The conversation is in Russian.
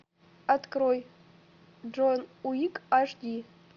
открой джон уик аш ди